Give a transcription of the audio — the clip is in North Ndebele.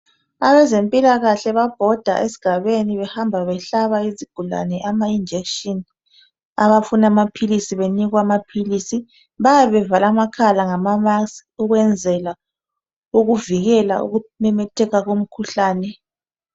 Abezempilakahle babhoda esigabeni behamba behlaba izigulane ama injection abafuna amaphilisi benikwa amaphilisi, bayabe bevale amakhala ngamaskhi ukwenzela ukuvikela ukumemetheka komkhuhlane.